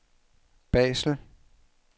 Basel